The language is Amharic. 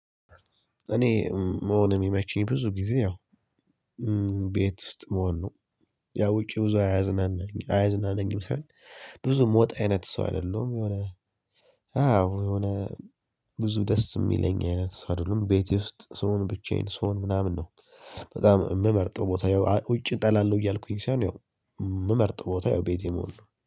እኔ መሆን የሚመችኝ ብዙ ጊዜ ያው ቤት ውስጥ መሆን ነው። ያው ውጪ ብዙ አያዝናናኝ አያዝናናኝም ሳይሆን ብዙ የምወጣ አይነት ሰው አይደለሁም። የሆነ አዎ የሆነ ብዙ ደስ የሚለኝ አይነት ሰው አይደለሁም ቤቴ ውስጥ ስሆን፣ ብቻዬን ስሆን፣ ምናምን ነው። በጣም የምመርጠው ቦታ ይኸው ውጪ እጠላለሁ እያልኩኝ ሳይሆን ያው የምመርጠው ቦታ ይኸው ቤቴ መሆን ነው።